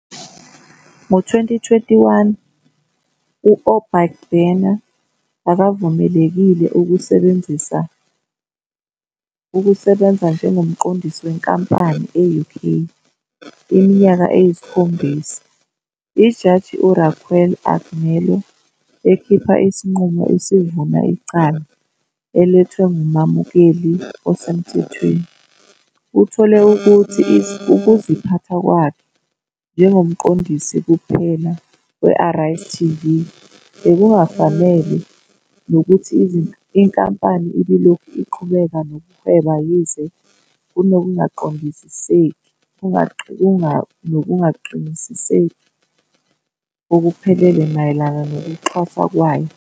Ngo-2021, u-Obaigbena akavumelekile ukusebenza njengomqondisi wenkampani e-UK iminyaka eyisikhombisa. Ijaji uRaquel Agnello, ekhipha isinqumo esivuna icala elethwe ngumamukeli osemthethweni, uthole ukuthi ukuziphatha kwakhe njengomqondisi kuphela we-Arise TV bekungafanele nokuthi inkampani ibilokhu iqhubeka nokuhweba yize "kunokungaqiniseki okuphelele" mayelana nokuxhaswa kwayo.